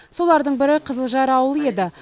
солардың бірі қызылжар ауылы еді